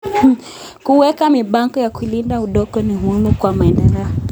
Kuweka mipango ya kulinda udongo ni muhimu kwa maendeleo.